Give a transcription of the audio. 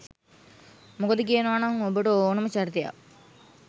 මොකද කියනවනම් ඔබට ඕනම චරිතයක්